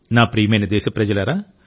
నా ప్రియమైన దేశప్రజలారా